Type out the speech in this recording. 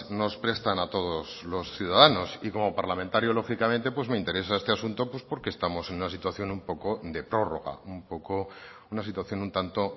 nos prestan a todos los ciudadanos y como parlamentario lógicamente pues me interesa este asunto pues porque estamos en una situación un poco de prórroga un poco una situación un tanto